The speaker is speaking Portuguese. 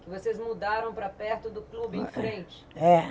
Vocês mudaram para perto do clube, em frente. É